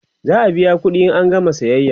za'a biya ƙuɗi in an gama sayayya